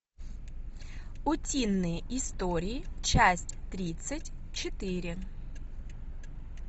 утиные истории часть тридцать четыре